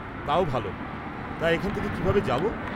তাও ভালো। তা, এখান থেকে কীভাবে যাব?